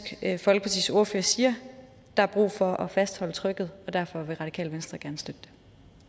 folkepartis ordfører siger der er brug for at fastholde trykket og derfor vil radikale venstre gerne støtte det